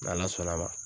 N'ala sɔnn'a ma